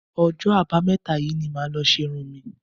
Ọjọ́ Àbámẹ́ta yìí ni màá lọ ṣe irun mi